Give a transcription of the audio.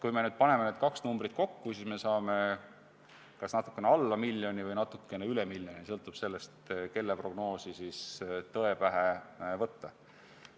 Kui me nüüd paneme need kaks numbrit kokku, siis me saame kas natuke alla miljoni või natuke üle miljoni, sõltub sellest, kelle prognoosi tõe pähe võtta.